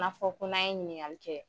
N'a fɔ ko n'an ye ɲiniŋali kɛ